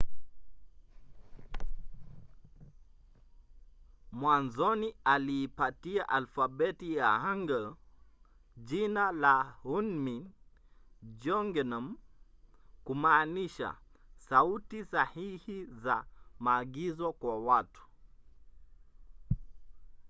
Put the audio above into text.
mwanzoni aliipatia alfabeti ya hangeul jina la hunmin jeongeum kumaanisha sauti sahihi za maagizo kwa watu